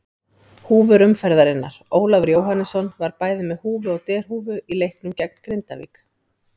Húfur umferðarinnar: Ólafur Jóhannesson var bæði með húfu og derhúfu í leiknum gegn Grindavík.